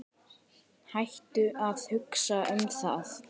Hættu að hugsa um það.